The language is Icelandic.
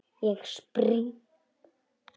Ég spring.